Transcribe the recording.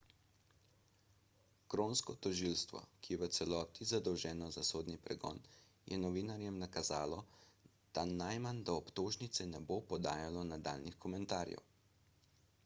kronsko tožilstvo ki je v celoti zadolženo za sodni pregon je novinarjem nakazalo da najmanj do obtožnice ne bo podajalo nadaljnjih komentarjev